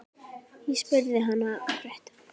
Ég spurði hana frétta.